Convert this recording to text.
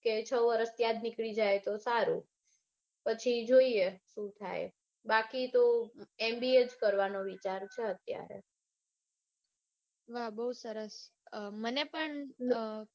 કે છ વરસ ત્યાં જ નીકળી જાય તો સારું. પછી જોઈએ શું થાય. બાકી તો mba જ કરવાનો વિચાર છે અત્યારે. ના બઉ સરસ મને પણ